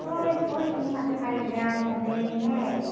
Foi, foi, tinha uma turma legal também, né?